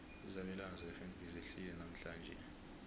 izabelwana zakwafnb zehlile namhlanje